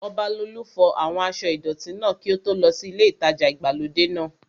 Ọbalolú fọ àwọn aṣọ́ ìdọ̀tí náà kí ó tó lọ sí ilé ìtajà ìgbàlódé náà